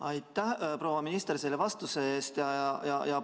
Aitäh, proua minister, selle vastuse eest!